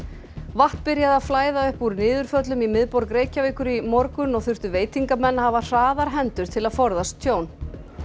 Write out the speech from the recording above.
vatn byrjaði að flæða upp úr niðurföllum í miðborg Reykjavíkur í morgun og þurftu veitingamenn að hafa hraðar hendur til að forðast tjón